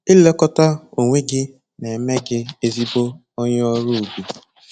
Ilekọta onwe gị na-eme gị ezigbo onye ọrụ ubi